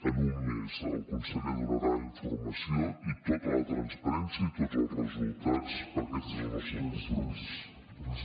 en un mes el conseller donarà informació i tota la transparència i tots els resultats perquè aquest és el nostre compromís